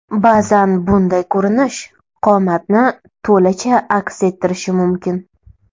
Ba’zan bunday ko‘rinish qomatni to‘lacha aks ettirishi mumkin.